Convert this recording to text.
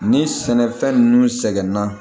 Ni sɛnɛfɛn nunnu sɛgɛnna